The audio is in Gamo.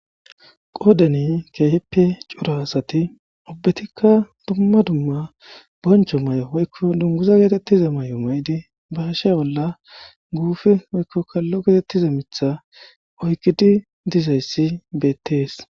Qodan keehippe cora asat ubbatika dumma dumma boncho mayo woyko dunguza getetiza mayo mayid ba ha she bolla guupe woykko kalo getetiza Mitha oykid dizays betes.